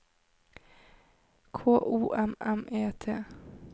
K O M M E T